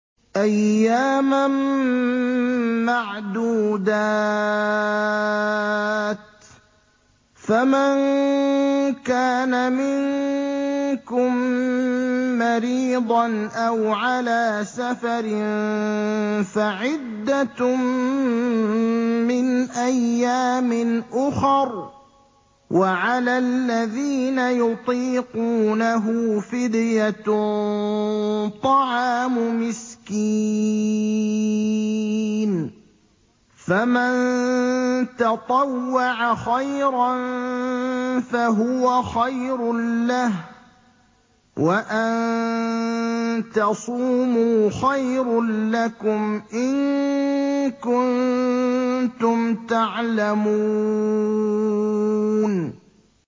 أَيَّامًا مَّعْدُودَاتٍ ۚ فَمَن كَانَ مِنكُم مَّرِيضًا أَوْ عَلَىٰ سَفَرٍ فَعِدَّةٌ مِّنْ أَيَّامٍ أُخَرَ ۚ وَعَلَى الَّذِينَ يُطِيقُونَهُ فِدْيَةٌ طَعَامُ مِسْكِينٍ ۖ فَمَن تَطَوَّعَ خَيْرًا فَهُوَ خَيْرٌ لَّهُ ۚ وَأَن تَصُومُوا خَيْرٌ لَّكُمْ ۖ إِن كُنتُمْ تَعْلَمُونَ